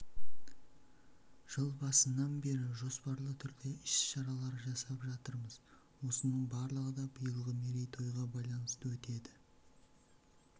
жыл басынан бері жоспарлы түрде іс-шаралар жасап жатырмыз осының барлығы да биылғы мерейтойға байланысты өтеді